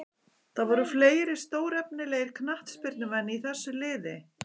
Það voru fleiri stórefnilegir knattspyrnumenn í þessu liði.